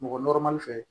Mɔgɔ fɛ